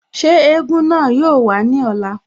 Ṣé egúngún náà yoo wá ní ọ̀la?